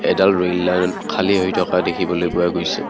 এডাল ৰুই লাইন খালি হৈ থকা দেখিবলৈ পোৱা গৈছে।